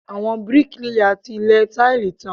Àwọn bíríkìlà ti lẹ táìlì tán.